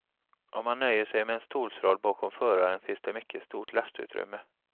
Om man nöjer sig med en stolsrad bakom föraren finns det ett mycket stort lastutrymme.